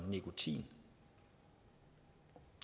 nikotin